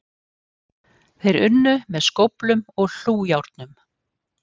Þeir unnu með skóflum og hlújárnum